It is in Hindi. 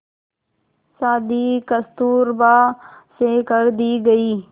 शादी कस्तूरबा से कर दी गई